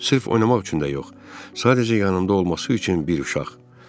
Sırf oynamaq üçün də yox, sadəcə yanında olması üçün bir uşaq.